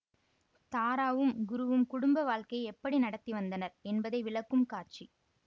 தாராவும் குருவும் குடும்ப வாழ்க்கையை எப்படி நடத்தி வந்தனர் என்பதை விளக்கும் காட்சி